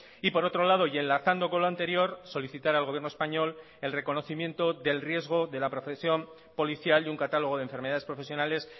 y por otro lado y enlazando con lo anterior solicitar al gobierno español el reconocimiento del riesgo de la profesión policial y un catálogo de enfermedades profesionales